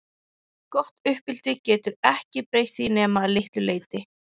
Gott uppeldi getur ekki breytt því nema að litlu leyti.